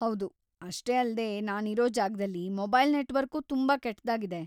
ಹೌದು, ಅಷ್ಟೇ ಅಲ್ದೇ ನಾನಿರೋ ಜಾಗ್ದಲ್ಲಿ ಮೊಬೈಲ್‌ ನೆಟ್ವರ್ಕೂ ತುಂಬಾ ಕೆಟ್ದಾಗಿದೆ.